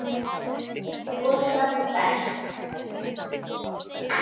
Og það berst.